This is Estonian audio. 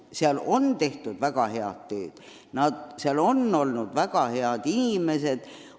Seal on tehtud väga head tööd, seal on ametis olnud väga head inimesed.